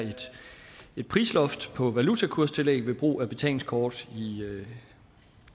et prisloft på valutakurstillæg ved brug af betalingskort